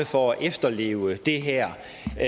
for at efterleve det her